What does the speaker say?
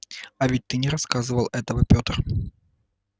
а ты ведь не рассказывал этого петр